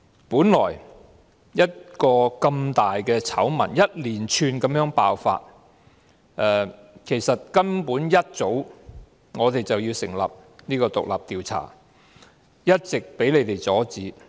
本來如此大的醜聞一連串地爆發，其實根本我們一早便應成立獨立調查委員會，但一直被你們阻止。